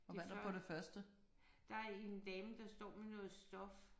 Det før. Der er en dame der står med noget stof